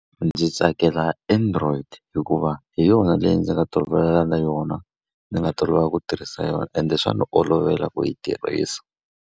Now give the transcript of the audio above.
Ndzi tsakela android hikuva hi yona leyi ndzi nga tolovela na yona, ndzi nga tolovela ku tirhisa yona. Ende swa ndzi olovela ku yi tirhisa.